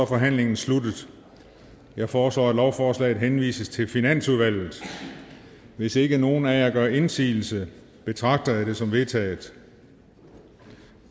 forhandlingen sluttet jeg foreslår at lovforslaget henvises til finansudvalget hvis ikke nogen af jer gør indsigelse betragter jeg det som vedtaget